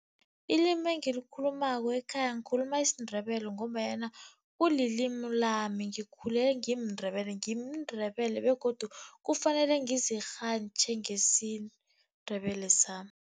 Ilimi engikhulumako ekhaya ngikhuluma isiNdebele, ngombanyana kulilimi lami ngikhule ngimNdebele ngimNdebele begodu kufanele ngizirhantjhe ngesiNdebele sami.